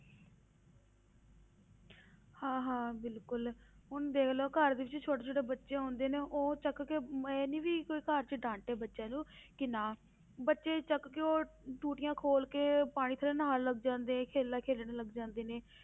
ਹਾਂ ਹਾਂ ਬਿਲਕੁਲ ਹੁਣ ਦੇਖ ਲੈ ਘਰ ਵਿੱਚ ਛੋਟੇ ਛੋਟੇ ਬੱਚੇ ਹੁੰਦੇ ਨੇ ਉਹ ਚੁੱਕ ਕੇ ਇਹ ਨੀ ਵੀ ਕੋਈ ਘਰ 'ਚ ਡਾਂਟੇ ਬੱਚੇ ਨੂੰ ਕਿ ਨਾ, ਬੱਚੇ ਚੁੱਕ ਕੇ ਉਹ ਟੂਟੀਆਂ ਖੋਲ ਕੇ ਪਾਣੀ ਥੱਲੇ ਨਹਾਉਣ ਲੱਗ ਜਾਂਦੇ ਖੇਲਾਂ ਖੇਲਣ ਲੱਗ ਜਾਂਦੇ ਨੇ,